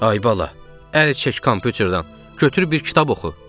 Ay bala, əl çək kompyuterdən, götürüb bir kitab oxu.